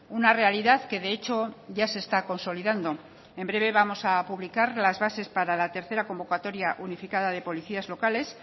una realidad que de hecho ya se está consolidando en breve vamos a publicar las bases para la tercera convocatoria unificadas de policías locales